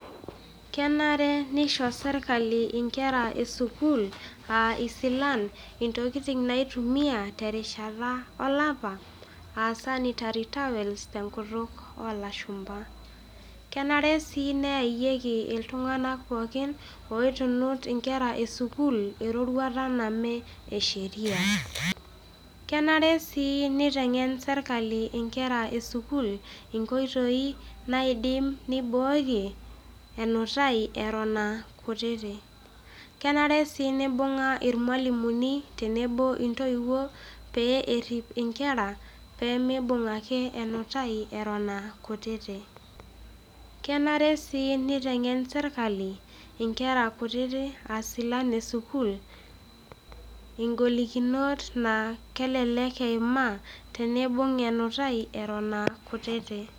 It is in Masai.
Kenare neisho sirkali inkerra esukuul aaa isilan intokitin naitumiya terishata olapa aa sanitary towels p te nkutuk oolashumba, kenare sii neayeki ltunganak pookin oitunut inkerra esukuul iroruata namee esheria, kenare sii neitengen sirkali inkerra esukuul mkoitoii naidim neiboorie enutaii eton aa kutiti, kenare sii neibung'a irmwalimuni tenebo oo ntoiwuo pee erip inkerra pemeeibung' ake enutai eton aa kutiti, kenare sii neitengen sirkali inkerra kutiti aa silan esukuul ingolikinot naa kelek eimaa teneibung' enutai eton aa kutiti.